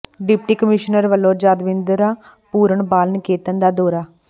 deputy commissioner ਵੱਲੋਂ ਯਾਦਵਿੰਦਰਾ ਪੂਰਨ ਬਾਲ ਨਿਕੇਤਨ ਦਾ ਦੌਰਾ